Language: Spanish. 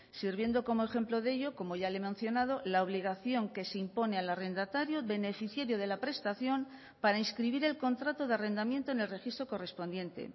sirviendo como ejemplo de ello como ya le he mencionado la obligación que se impone al arrendatario beneficiario de la prestación para inscribir el contrato de arrendamiento en el registro correspondiente